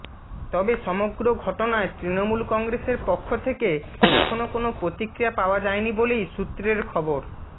তবে সমগ্র ঘটনায় তৃণমূল কংগ্রেসের পক্ষ থেকে এখনও কোনও প্রতিক্রিয়া পাওয়া যায়নি বলেই সূত্রের খবর